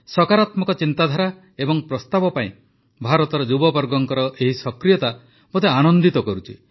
ସକାରାତ୍ମକ ଚିନ୍ତାଧାରା ଏବଂ ପ୍ରସ୍ତାବ ପାଇଁ ଭାରତର ଯୁବବର୍ଗଙ୍କ ଏହି ସକ୍ରିୟତା ମୋତେ ଆନନ୍ଦିତ କରୁଛି